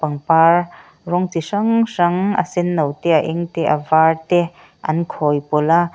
pangpar rawng chi hrang hrang a senno te a eng te a var te an khawi pawlh a.